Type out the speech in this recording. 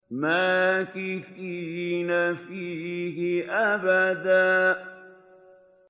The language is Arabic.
مَّاكِثِينَ فِيهِ أَبَدًا